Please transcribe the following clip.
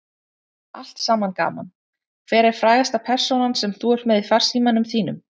Allt saman gaman Hver er frægasta persónan sem þú ert með í farsímanum þínum?